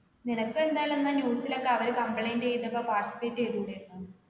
നിനക്ക് എന്തായാലും എന്നാ news ലൊക്കെ അവര് complaint ചെയ്തപ്പോ participate എയ്തൂടായിരുന്നോ